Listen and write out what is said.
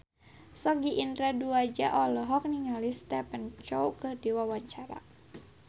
Sogi Indra Duaja olohok ningali Stephen Chow keur diwawancara